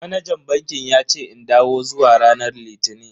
Manajan bankin yace in dawo zuwa ranar litini.